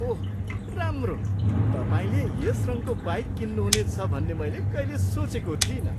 ओह, राम्रो! तपाईँले यस रङको बाइक किन्नुहुनेछ भन्ने मैले कहिल्यै सोचेको थिइनँ।